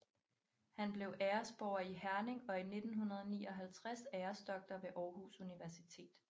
Han blev æresborger i Herning og i 1959 æresdoktor ved Aarhus Universitet